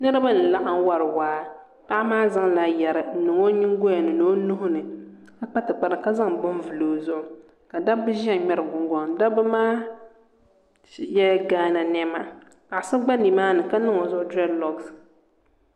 Niraba n laɣam wori waa paɣa maa zaŋla yɛri n niŋ o nyingoli ni ni o nuhuni ka kpa tikpara ka zaŋ bini vuli o zuɣu ka dabba ʒɛya ŋmɛri gungona dabba maa yɛla gaana niɛma paɣa so gba nimaani ka niŋ o zuɣu dirɛɛd loks